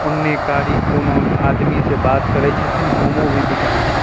उन्ने कारी कोनो आदमी से बात करे छथीन मोमो भी बिकाय छै।